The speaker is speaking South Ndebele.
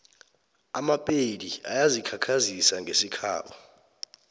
amapedi ayazikhakhazisa ngesikhabo